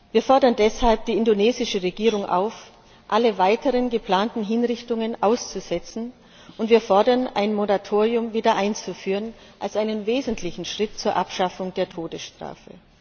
Wir fordern deshalb die indonesische Regierung auf, alle weiteren geplanten Hinrichtungen auszusetzen, und wir fordern, wieder ein Moratorium einzuführen als einen wesentlichen Schritt zur Abschaffung der Todesstrafe.